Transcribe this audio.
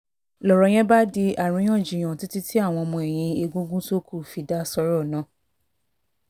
lọ́rọ̀ yẹn bá di àríyànjiyàn títí tí àwọn ọmọ ẹ̀yìn egungun tó kù fi dá sọ́rọ̀ náà